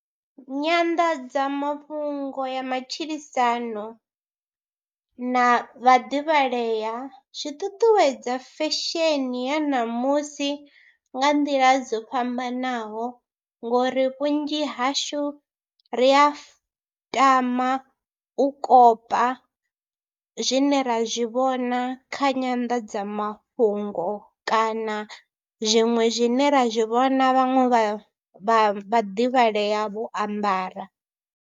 Nyanḓadzamafhungo ya matshilisano na vhaḓivhalea zwi ṱuṱuwedza fesheni ya ṋamusi nga nḓila dzo fhambanaho ngori vhunzhi hashu ri ya fu, tama u kopa zwine ra zwi vhona kha nyanḓadzamafhungo kana zwiṅwe zwine ra zwi vhona vhaṅwe vha vhaḓivhalea vho ambara.